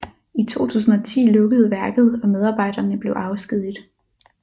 I 2010 lukkede værket og medarbejderne blev afskediget